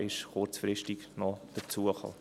Er kam kurzfristig hinzu.